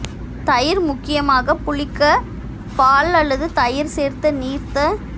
தயிர் முக்கியமாக புளிக்க பால் அல்லது தயிர் சேர்த்து நீர்த்த